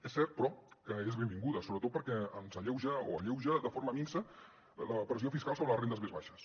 és cert però que és benvinguda sobretot perquè alleuja de forma minsa la pressió fiscal sobre les rendes més baixes